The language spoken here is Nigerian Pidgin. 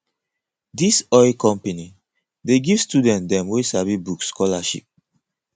dis oil company dey give student dem wey sabi book scholarship